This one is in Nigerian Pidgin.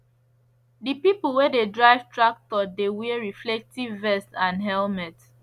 the people wey dey drive tractor dey wear reflective vest and helmet